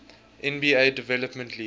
nba development league